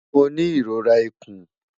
Mo ni irora ikun